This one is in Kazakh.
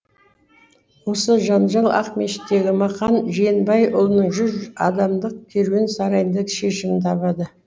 осы жанжал ақмешіттегі мақан жиенбайұлының жүз адамдық керуен сарайында шешімін табады